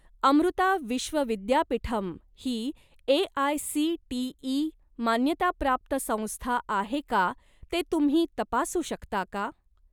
अमृता विश्व विद्यापीठम् ही ए.आय.सी.टी.ई. मान्यताप्राप्त संस्था आहे का ते तुम्ही तपासू शकता का?